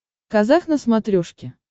казах на смотрешке